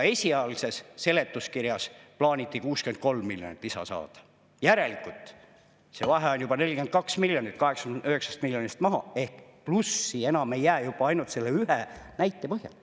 Esialgses seletuskirjas plaaniti 63 miljonit lisa saada, järelikult see vahe on juba 42 miljonit 89 miljonist maha ehk plussi enam ei jää juba ainult selle ühe näite põhjal.